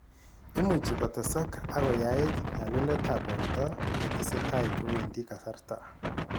Imuchi kotesak ak koyait nyaluletab borto yetesetai kowendi kasarta